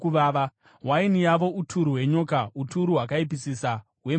Waini yavo uturu hwenyoka, uturu hwakaipisisa hwemhakure.